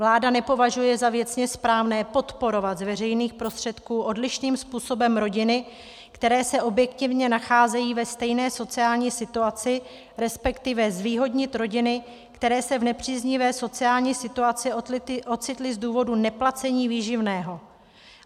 Vláda nepovažuje za věcně správné podporovat z veřejných prostředků odlišným způsobem rodiny, které se objektivně nacházejí ve stejné sociální situaci, respektive zvýhodnit rodiny, které se v nepříznivé sociální situaci ocitly z důvodu neplacení výživného.